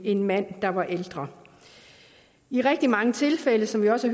en mand der var ældre i rigtig mange tilfælde som vi også